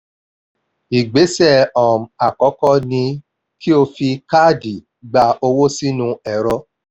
ìgbésẹ̀ um àkọ́kọ́ ni kí o fi káàdì ìgba owó sí inú ẹ̀rọ